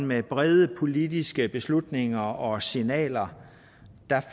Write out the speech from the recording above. med brede politiske beslutninger og signaler